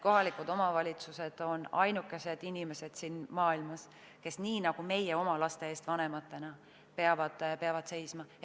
Kohaliku omavalitsuse töötajad on ainukesed inimesed siin maailmas, kes nii nagu meie seisame oma laste eest vanematena,.